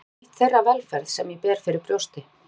Það er nú einmitt þeirra velferð sem ég ber fyrir brjósti.